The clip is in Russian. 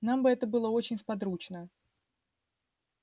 нам бы это было очень сподручно